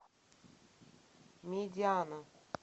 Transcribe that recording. медиана